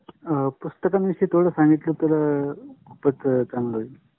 हम्म पुस्तके विषयी संगितल तर बर होइल